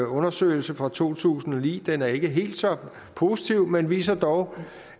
undersøgelse fra to tusind og ni den er ikke helt så positiv men viser dog